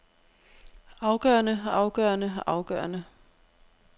afgørende afgørende afgørende